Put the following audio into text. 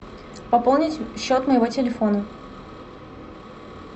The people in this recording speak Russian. пополнить счет моего телефона